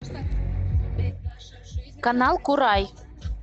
канал курай